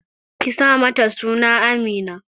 Ki sa mata suna Amina!